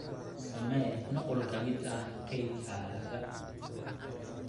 Samee nuqul ka mid ah kaydkaaga.